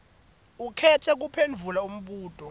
ukhetse kuphendvula umbuto